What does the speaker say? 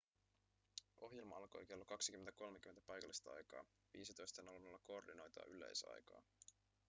ohjelma alkoi kello 20.30 paikallista aikaa 15.00 koordinoitua yleisaikaa